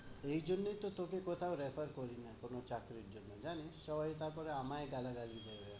এ জন্যই তোকে কোথাও refer করি না কোনো চাকরির জন্য, জানিস? সবাই তারপরে আমায় গালাগালি দেয়।